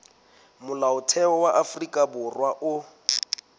molaotheo wa afrika borwa o